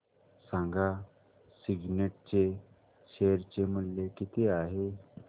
सांगा सिग्नेट चे शेअर चे मूल्य किती आहे